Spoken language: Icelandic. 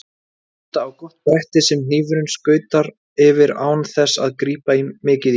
Nota á gott bretti sem hnífurinn skautar yfir án þess að grípa mikið í.